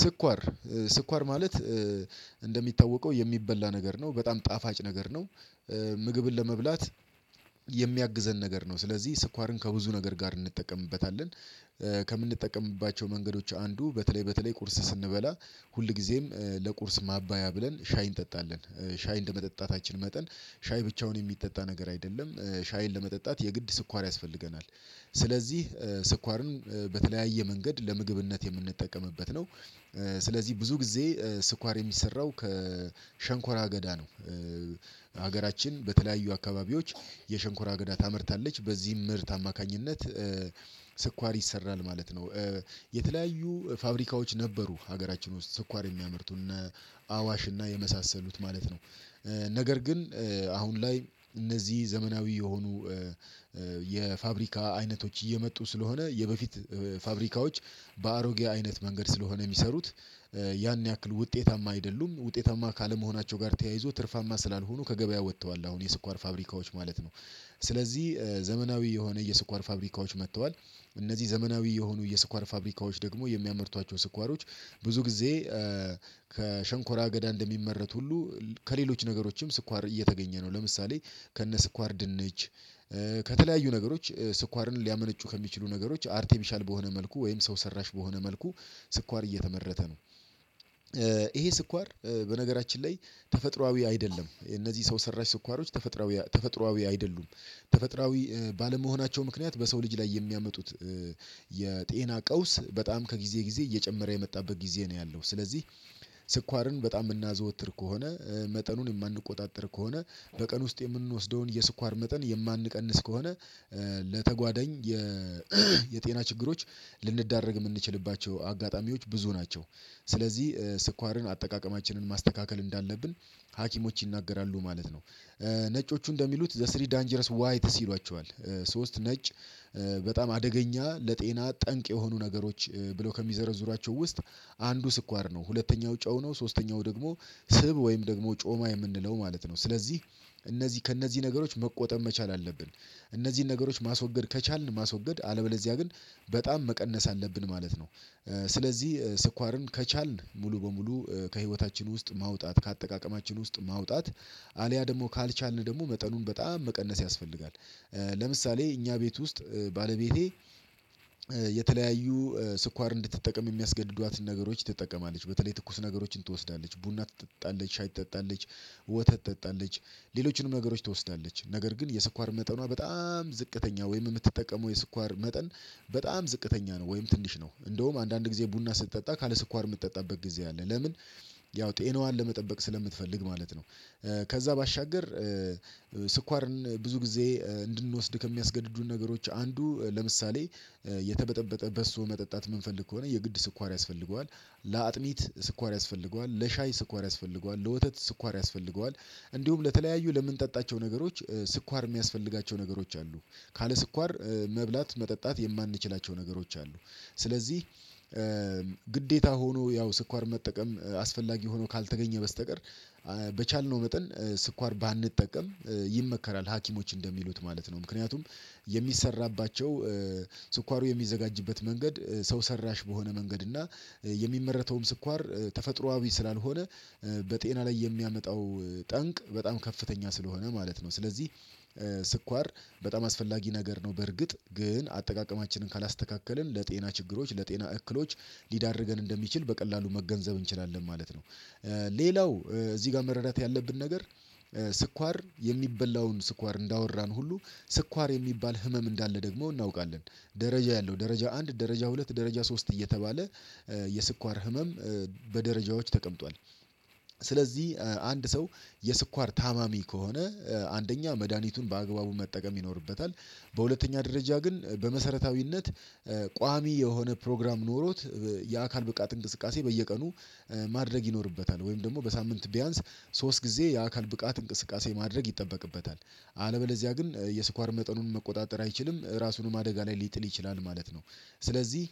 ስኳር ስኳር ማለት እንደሚታወቀው የሚበላ ነገር ነው በጣም ጣፋጭ ነገር ነው። ምግብን ለመብላት የሚያግዘን ነገር ነው። ስለዚህ ስኳርን ከብዙ ነገር ጋር እንጠቀምበታለን። ከምንጠቀምባቸው መንገዶች አንዱ በተለይ በተለይ ቁርስ ስንበላ ሁልጊዜም ለቁርስ ማባያ ብለን ሻይን እንጠጣለን ሻይ እንደመጠጣታችን መጠን ሻይ ብቻውን የሚጠጣ ነገር አይደለም ሻይን ለመጠጣት የግድ ስኳር ያስፈልገናል። ስለዚህ ስኳርን በተለያየ መንገድ ለምግብነት የምንጠቀምበት ነው። ስለዚህ ብዙ ጊዜ ስኳር የሚሰራው ከሸንኮራ አገዳ ነው። ሀገራችን በተለያዩ አካባቢዎች የሸንኮራ አገዳ ታመርታለች በዚህም ምርት አማካኝነት ስኳር ይሰራል ማለት ነው። የተለያዩ ፋብሪካዎች ነበሩ ሀገራችን ውስጥ ስኳር የሚያመርቱ እነ አዋሽ እና የመሳሰሉት ማለት ነው። ነገር ግን አሁን ላይ እነዚህ ዘመናዊ የሆኑ የፋብሪካ አይነቶች እየመጡ ስለሆነ የበፊት ፋብሪካዎች በአሮጌ አይነት መንገድ ስለሆነ የሚሰሩት ያን ያክል ውጤታማ አይደሉም ውጤታማ ካለመሆናቸው ጋር ተያይዞ ትርፋማ ስላልሆኑ ከገበያ ወጥተዋል። አሁን የስኳር ፋብሪካዎች ማለት ነው። ስለዚህ ዘመናዊ የሆነ የስኳር ፋብሪካዎች መጥተዋል። እነዚህ ዘመናዊ የሆኑ የስኳር ፋብሪካዎች ደግሞ የሚያመርቷቸው ስኳሮች ብዙ ጊዜ ከሸንኮራ አገዳ እንደሚመረት ሁሉ ከሌሎች ነገሮችም ስኳር እየተገኘ ነው ለምሳሌ ከነ ስኳር ድንች ከተለያዩ ነገሮች ስኳርን ሊያመነጩ ከሚችሉ ነገሮች አርቴፊሻል በሆነ መልኩ ወይም ሰው ሰራሽ በሆነ መልኩ ስኳር እየተመረተ ነው። ይሄ ስኳር በነገራችን ላይ ተፈጥሮአዊ አይደለም የነዚህ ሰው ሰራሽ ስኳሮች አይደሉም። ተፈጥሮአዊ ባለመሆናቸው ምክንያት በሰው ልጅ ላይ የሚያመጡት የጤና ቀውስ በጣም ከጊዜ ጊዜ እየጨመረ የመጣበት ጊዜ ነው ያለው ስለዚህ። ስኳርን በጣም የምናዘወትር ከሆነ መጠኑን የማንቆጣጠር ከሆነ በቀን ውስጥ የምንወስደውን የስኳር መጠን የማንቀንስ ከሆነ ለተጓደኝ የጤና ችግሮች ልንዳረግ የምንችልባቸው አጋጣሚዎች ብዙ ናቸው። ስለዚህ ስኳርን አጠቃቀማችንን ማስተካከል እንዳለብን ሀኪሞች ይናገራሉ ማለት ነው። ነጮቹ እንደሚሉት ዘ ስሪ ዳንጀረስ ዋይትስ ሲሏቸዋል ሶስት ነጭ በጣም አደገኛ ለጤና ጠንቅ የሆኑ ነገሮች ብለው ከሚዘረዝሯቸው ውስጥ አንዱ ስኳር ነው። ሁለተኛው ጨው ነው። ሶስተኛው ደግሞ ስብ ወይም ደግሞ ጮማ የምንለው ማለት ነው። ስለዚህ እነዚህ ከእነዚህ ነገሮች መቆጠብ መቻል አለብን። እነዚህን ነገሮች ማስወገድ ከቻልን ማስወገድ አለበለዚያ ግን በጣም መቀነስ አለብን ማለት ነው። ስለዚህ ስኳርን ከቻልን ሙሉ በሙሉ ከህይወታችን ውስጥ ማውጣት ከአጠቃቀማችን ውስጥ ማውጣት አልያ ደግሞ ካልቻልን ደግሞ መጠኑን በጣም መቀነስ ያስፈልጋል። ለምሳሌ እኛ ቤት ውስጥ ባለቤቴ የተለያዩ ስኳር እንድትጠቀም የሚያስገድዷትን ነገሮች ትጠቀማለች በተለይ ትኩስ ነገሮችን ትወስዳለች ቡና ትጠጣለች ሻይ ትጠጣለች ወተት ትጠጣለች ሌሎችንም ነገሮች ትወስዳለች ነገር ግን የስኳር መጠኗ በጣም ዝቅተኛ ወይም የምትጠቀመው የስኳር መጠን በጣም ዝቅተኛ ነው። ወይም ትንሽ ነው እንደውም አንዳንድ ጊዜ ቡና ስትጠጣ ካለ ስኳር የምትጠጣበት ጊዜ አለ ለምን ያው ጤናዋን ለመጠበቅ ስለምትፈልግ ማለት ነው። ከዛ ባሻገር ስኳርን ብዙ ጊዜ እንድንወስድ ከሚያስገድዱን ነገሮች አንዱ ለምሳሌ የተበጠበጠ በሶ መጠጣት የምንፈልግ ከሆነ የግድ ስኳር ያስፈልገዋል። ለአጥኒት ስኳር ያስፈልገዋል ለሻይ ስኳር ያስፈልገዋል ለወተት ስኳር ያስፈልገዋል። እንዲሁም ለተለያዩ ለምንጠጣቸው ነገሮች ስኳር የሚያስፈልጋቸው ነገሮች አሉ። ካለ ስኳር መብላት መጠጣት የማንችላቸው ነገሮች አሉ። ስለዚህ ግዴታ ሆኖ ያው ስኳር መጠቀም አስፈላጊ ሆኖ ካልተገኘ በስተቀር በቻልነው መጠን ስኳር ባንጠቀም ይመከራል ሀኪሞች እንደሚሉት ማለት ነው። ምክንያቱም የሚሰራባቸው ስኳሩ የሚዘጋጅበት መንገድ ሰው ሰራሽ በሆነ መንገድ እና የሚመረተውም ስኳር ተፈጥሮአዊ ስላልሆነ በጤና ላይ የሚያመጣው ጠንቅ በጣም ከፍተኛ ስለሆነ ማለት ነው። ስለዚህ ስኳር በጣም አስፈላጊ ነገር ነው። በእርግጥ ግን አጠቃቀማችንን ካላስተካከልን ለጤና ችግሮች ለጤና እክሎች ሊዳርገን እንደሚችል በቀላሉ መገንዘብ እንችላለን ማለት ነው። ሌላው እዚህ ጋር መረዳት ያለብን ነገር ስኳር የሚበላውን ስኳር እንዳወራን ሁሉ ስኳር የሚባል ህመም እንዳለ ደግሞ እናውቃለን። ደረጃ ያለው ደረጃ አንድ ደረጃ ሁለት ደረጃ ሶስት እየተባለ የስኳር ህመም በደረጃዎች ተቀምጧል። ስለዚህ አንድ ሰው የስኳር ታማሚ ከሆነ አንደኛ መድሃኒቱን በአግባቡ መጠቀም ይኖርበታል። በሁለተኛ ደረጃ ግን በመሰረታዊነት ቋሚ የሆነ ፕሮግራም ኖሮት የአካል ብቃት እንቅስቃሴ በየቀኑ ማድረግ ይኖርበታል ወይም ደግሞ በሳምንት ቢያንስ ሶስት ጊዜ የአካል ብቃት እንቅስቃሴ ማድረግ ይጠበቅበታል። አለበለዚያ ግን የስኳር መጠኑን መቆጣጠር አይችልም ራሱንም አደጋ ላይ ሊጥል ይችላል ማለት ነው። ስለዚህ